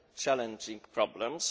challenging problems.